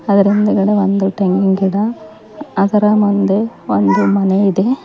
ಅದರ ಹಿಂದ್ಗಡೆ ಒಂದು ತೆಂಗಿನ್ ಗಿಡ ಅದರ ಮುಂದೆ ಒಂದು ಮನೆ ಇದೆ.